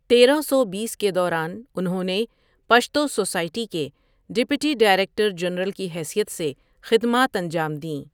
تیرہ سو بیس کے دوران ، انہوں نے پشتو سوسائٹی کے ڈپٹی ڈائریکٹر جنرل کی حیثیت سے خدمات انجام دیں ۔